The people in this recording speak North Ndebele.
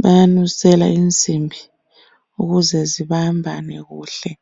Bayanusela insimbi ukuze zibambane kuhle.